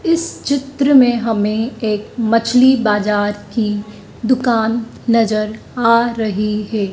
इस चित्र में हमें एक मछली बाजार की दुकान नजर आ रही हैं।